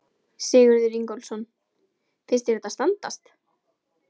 Sigurður Ingólfsson: Finnst þér þetta standast?